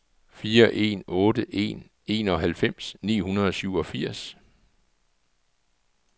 fire en otte en enoghalvfems ni hundrede og syvogfirs